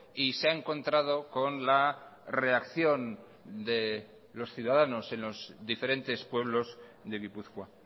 y se ha encontrado con la reacción de los ciudadanos en los diferentes pueblos de gipuzkoa